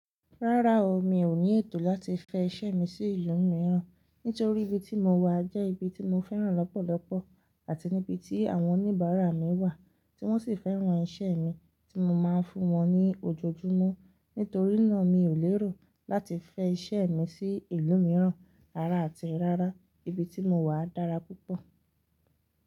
Rárá o, mi ò ní ètò láti fẹ iṣẹ́ mi sí ìlú mìíràn, nítorí ibi tí mo wà jẹ́ ibi tí mo fẹ́ràn lọ́pọ̀lọpọ̀ àti níbi tí àwọn oníbàárà mi wà, tí wọ́n sì fẹ́ràn iṣẹ́ mi tí mo máa ń fún wọn ní ojoojúmọ́. Nítorí náà, mi ò lérò láti fẹ iṣẹ́ mi sí ìlú mìíràn rárá àti rárá. Ibi tí mo wà dára púpọ̀.